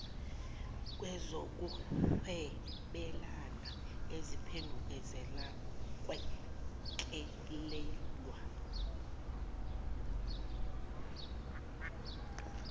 kwezokuhwebelana eziphendukezela ukwelekelelwa